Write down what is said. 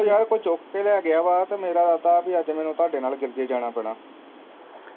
ਉਹ ਯਾਰ ਕੋਈ ਚੁੱਕ ਕੇ ਲੈ ਗਿਆ ਵਾ ਤੇ ਮੇਰਾ ਤਾ ਵੀ ਅੱਜ ਮੈਨੂੰ ਤਾਡੇ